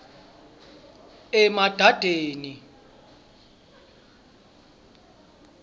emadadeni